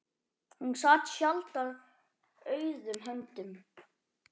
Hún sat sjaldan auðum höndum.